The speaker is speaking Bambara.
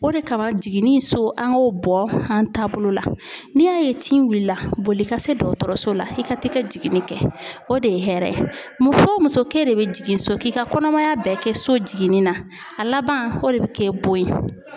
O de kama jiginni so an k'o bɔ an taabolo la n'i y'a ye tin wulila boli ka se dɔgɔtɔrɔso la i ka t'i ka jiginni kɛ o de ye hɛrɛ ye muso o muso k'e de bɛ jigin so k'i ka kɔnɔmaya bɛɛ kɛ so jiginni na a laban o de bɛ kɛ bon ye